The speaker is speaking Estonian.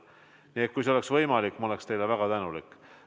Nii et kui see on võimalik, siis ma olen teile väga tänulik.